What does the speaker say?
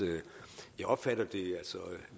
jeg opfatter det